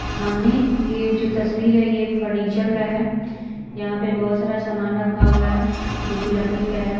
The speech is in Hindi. सामने ये जो तस्वीर है ये एक फर्नीचर का है यहाँ पे बहुत सारा समान रखा हुआ है जो कि लकड़ी का है।